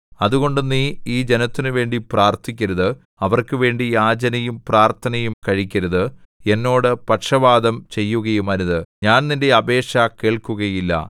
അതുകൊണ്ട് നീ ഈ ജനത്തിനുവേണ്ടി പ്രാർത്ഥിക്കരുത് അവർക്ക് വേണ്ടി യാചനയും പ്രാർത്ഥനയും കഴിക്കരുത് എന്നോട് പക്ഷവാദം ചെയ്യുകയുമരുത് ഞാൻ നിന്റെ അപേക്ഷ കേൾക്കുകയില്ല